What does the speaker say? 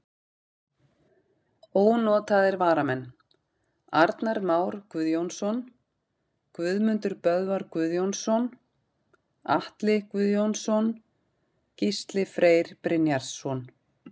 Ónotaðir varamenn: Arnar Már Guðjónsson, Guðmundur Böðvar Guðjónsson, Atli Guðjónsson, Gísli Freyr Brynjarsson.